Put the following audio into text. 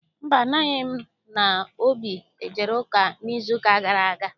Mba, amaghị m ma Obi ejere ụka n'izuụka gara aga.